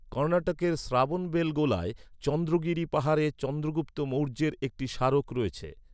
কর্ণাটকের শ্রাবণবেলগোলায়, চন্দ্রগিরি পাহাড়ে চন্দ্রগুপ্ত মৌর্যের একটি স্মারক রয়েছে।